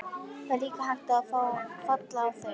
Það er líka hægt að falla á þeim.